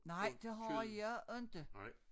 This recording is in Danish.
Nej det har jeg inte